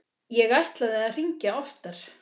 Ég ætlaði að hringja oftar.